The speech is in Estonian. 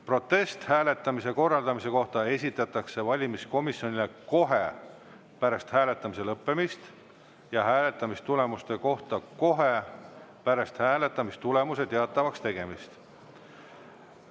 Protest hääletamise korraldamise kohta esitatakse valimiskomisjonile kohe pärast hääletamise lõppemist ja hääletamistulemuste kohta kohe pärast hääletamistulemuste teatavaks tegemist.